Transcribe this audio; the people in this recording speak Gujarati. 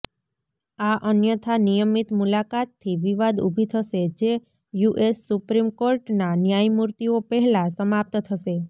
આ અન્યથા નિયમિત મુલાકાતથી વિવાદ ઊભી થશે જે યુએસ સુપ્રીમ કોર્ટના ન્યાયમૂર્તિઓ પહેલાં સમાપ્ત થશે